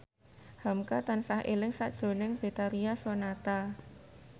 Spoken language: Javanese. hamka tansah eling sakjroning Betharia Sonata